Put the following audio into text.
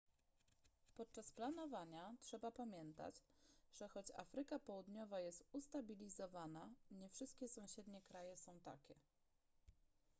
podczas planowania trzeba pamiętać że choć afryka południowa jest ustabilizowana nie wszystkie sąsiednie kraje są takie